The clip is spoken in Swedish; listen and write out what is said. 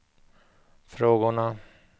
frågorna